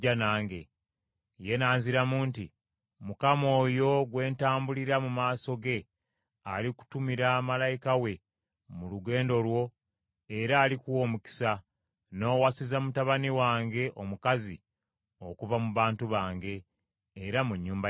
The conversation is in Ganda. “Ye n’anziramu nti, ‘ Mukama oyo gwe ntambulira mu maaso ge alikutumira malayika we mu lugendo lwo era alikuwa omukisa, n’owasiza mutabani wange omukazi okuva mu bantu bange, era mu nnyumba ya kitange.